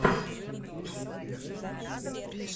включи вести ньюс в ютюбе